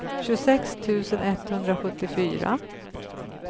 tjugosex tusen etthundrasjuttiofyra